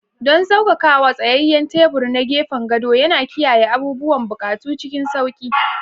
Don saukakawa, tsayayyen tebur na gefen gado yana kiyaye abubuwan buƙatu cikin sauƙi.